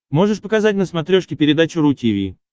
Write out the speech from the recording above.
можешь показать на смотрешке передачу ру ти ви